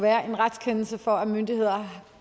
være en retskendelse for at myndigheder